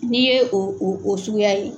N'i ye o o o suguya ye.